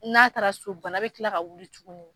N'a taara so bana bɛ tila ka wuli tugun.